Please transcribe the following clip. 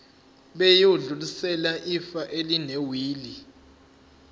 bayodlulisela ifa elinewili